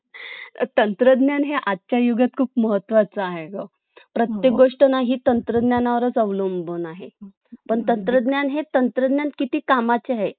तंत्रज्ञान हे आजच्या युगात खूप महत्वाच आहे ग प्रत्येक गोष्ट न ही तंत्रज्ञानावरच अवलंबून आहे पण तंत्रज्ञान हे तंत्रज्ञान किती कामाचे आहे